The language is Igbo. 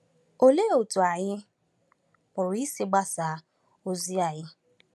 Olee otú anyị pụrụ isi gbasaa ozi anyị?